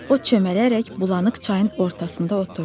O çömbələrək bulanıq çayın ortasında oturdu.